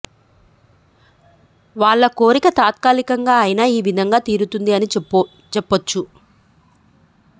వాళ్ళ కోరిక తాత్కాలికంగా అయినా ఈ విధంగా తీరుతుంది అని చెప్పోచ్చు